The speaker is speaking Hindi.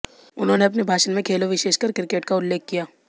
उन्होंने अपने भाषण में खेलों विशेषकर क्रिकेट का उल्लेख किया